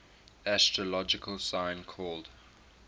astrological sign called